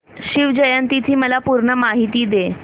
शिवजयंती ची मला पूर्ण माहिती दे